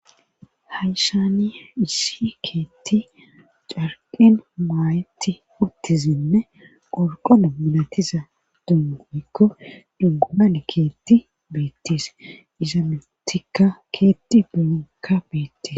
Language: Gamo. hayisani issi keetti carqen maayetti utizinne qorqona milatiza dono woyikko gomne keetti beettis iza mitikka keetti binka beettes